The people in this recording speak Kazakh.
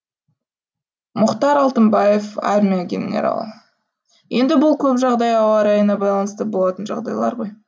мұхтар алтынбаев армия генералы енді бұл көп жағдай ауа райына байланысты болатын жағдайлар ғой